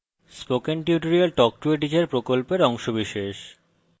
spoken tutorial talk to a teacher প্রকল্পের অংশবিশেষ